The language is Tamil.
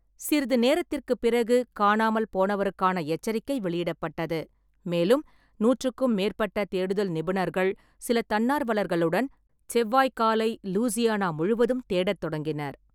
சிறிது நேரத்திற்குப் பிறகு, காணாமல் போனவருக்கான எச்சரிக்கை வெளியிடப்பட்டது. மேலும், நூற்றுக்கும் மேற்பட்ட தேடுதல் நிபுணர்கள், சில தன்னார்வலர்களுடன் செவ்வாய் காலை லூசியானா முழுவதும் தேடத் தொடங்கினர்.